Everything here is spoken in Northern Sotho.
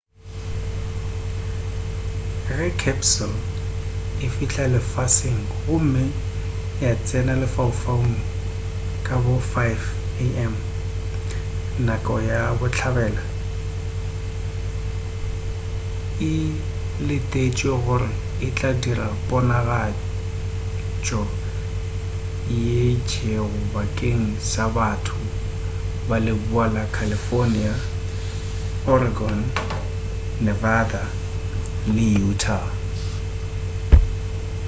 ge capsule e fihla lefaseng gomme ya tsena lefaufaung ka bo 5am nako ya bohlabela e letetšwe gore e tla dira ponagatšwa ye itšego bakeng sa batho ba leboa la california oregon nevada le utah